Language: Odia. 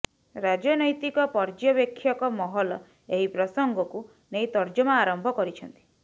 ରାଜନୈତିକ ପର୍ଯ୍ୟବେକ୍ଷକ ମହଲ ଏହି ପ୍ରସଙ୍ଗକୁ ନେଇ ତର୍ଜମା ଆରମ୍ଭ କରିଛନ୍ତି